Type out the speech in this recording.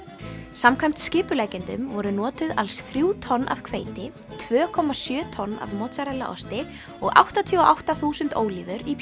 samkvæmt skipuleggjendum voru notuð alls þrjú tonn af hveiti tvö komma sjö tonn af mozzarella osti og áttatíu og átta þúsund ólífur í